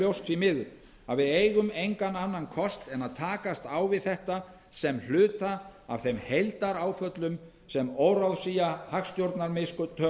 ljóst því miður að við eigum engan annan kost en að takast á við þetta sem hluta af þeim heildaráföllum sem óráðsía hagstjórnarmistök